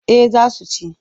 Eh za su ci.